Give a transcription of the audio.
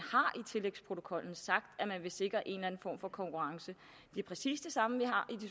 vil sikre en form for konkurrence det er præcis det samme